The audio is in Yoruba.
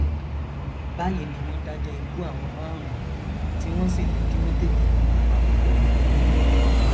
báyìí ni wọn dájọ ikú àwọn márùnún tí wọn sì ní kí wọn tètè yìnbọn pa gbogbo wọn